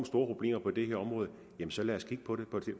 problemer på det her område så lad os kigge på det